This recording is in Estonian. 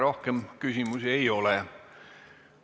Rohkem küsimusi ei ole.